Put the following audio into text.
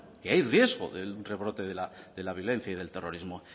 que hay riesgo de un rebrote de la violencia y del terrorismo